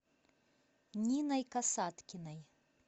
ниной касаткиной